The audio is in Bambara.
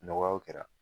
Nɔgɔyaw kɛra